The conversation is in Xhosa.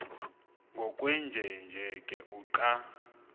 ngokwenjenje ke uqa